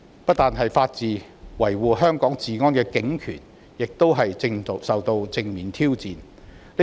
不單是法治，維護香港治安的警權亦正受到正面挑戰。